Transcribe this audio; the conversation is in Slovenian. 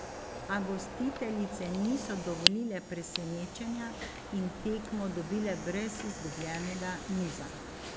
A gostiteljice niso dovolile presenečenja in tekmo dobile brez izgubljenega niza.